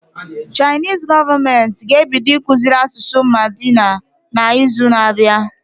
Chinese gọọmenti ga ebido ịkụziri asụsụ mandarin na izu na abịa